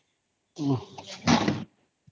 noise